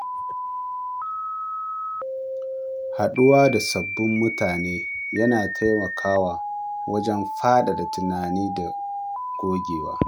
Haɗuwa da sabbin mutane yana taimakawa wajen faɗaɗa tunani da gogewa.